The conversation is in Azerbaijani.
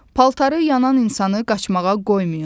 Paltarı yanan insanı qaçmağa qoymayın.